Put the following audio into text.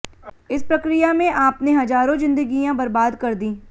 इस प्रक्रिया में आपने हजारों जिंदगियां बर्बाद कर दीं